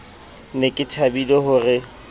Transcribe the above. ne ke thabile ho re